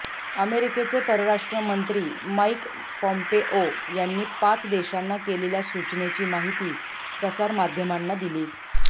अमेरिकेचे परराष्ट्र मंत्री माईक पॉम्पेओ यांनी पाच देशांना केलेल्या सूचनेची माहिती प्रसार माध्यमांना दिली